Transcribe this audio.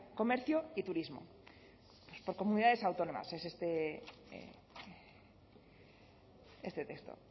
comercio y turismo por comunidades autónomas es este texto